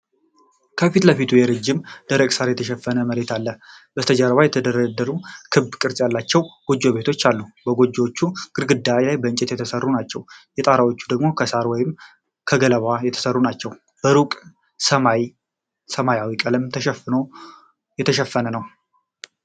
ከፊት ለፊቱ በረጅም ደረቅ ሣር የተሸፈነ መሬት አለ። በስተጀርባ የተደራደሩ ክብ ቅርፅ ያላቸው ጎጆ ቤቶች አሉ። የጎጆዎቹ ግድግዳዎች ከእንጨት የተሠሩ ናቸው። የጣራዎቹ ደግሞ ከሳር ወይም ከገለባ የተሠሩ ናቸው። በሩቅ ሰማዩ በሰማያዊ ቀለም የተሸፈነ ነው።